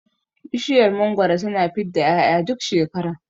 Bishiyar mangwaro tana fidda 'ya'ya duk shekara